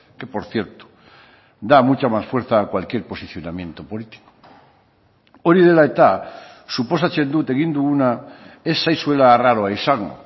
que por cierto da mucha más fuerza a cualquier posicionamiento político hori dela eta suposatzen dut egin duguna ez zaizuela arraroa izango